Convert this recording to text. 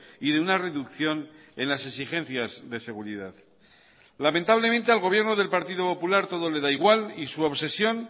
y de una reducción en las exigencias de seguridad lamentablemente al gobierno del partido popular todo le da igual y su obsesión